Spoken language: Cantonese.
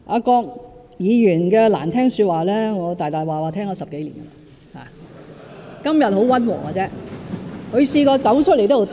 郭議員的難聽說話，我已經聽了10多年，他今天倒是十分溫和。